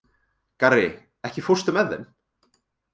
Garri, ekki fórstu með þeim?